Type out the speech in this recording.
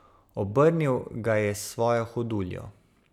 Obrnil ga je s svojo hoduljo.